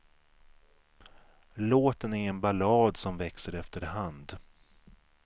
Låten är en ballad som växer efter hand.